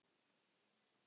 Eyþór kinkar kolli.